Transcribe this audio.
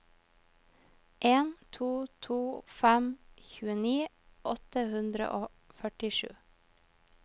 en to to fem tjueni åtte hundre og førtisju